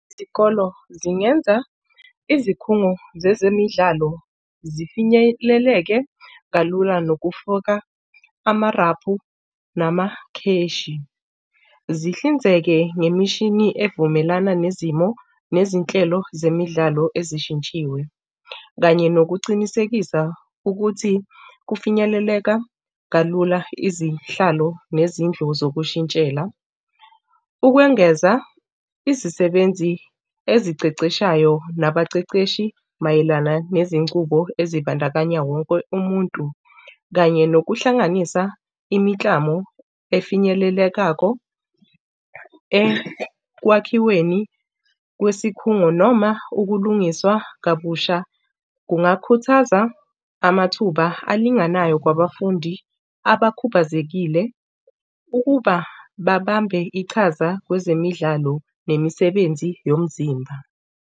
Izikolo zingenza izikhungo zezemidlalo zifinyeleleke kalula nokufoka amarabhu namakheshi. Zihlinzeke ngemishini evumelana nezimo nezinhlelo zemidlalo ezishintshiwe. Kanye nokucinisekisa ukuthi kufinyeleleka kalula izihlalo nezindlu zokushintshela. Ukwengeza izisebenzi eziceceshayo nabaceceshi mayelana nezincubo ezibandakanya wonke umuntu, kanye nokuhlanganisa imiklamo efinyelelekako ekwakhiweni kwesikhungo noma ukulungiswa kabusha, kungakhuthaza amathuba alinganayo kwabafundi abakhubazekile ukuba babambe iqhaza kwezemidlalo nemisebenzi yomzimba.